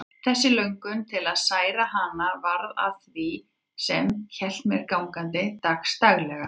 Þessi löngun til að særa hana varð að því sem hélt mér gangandi dagsdaglega.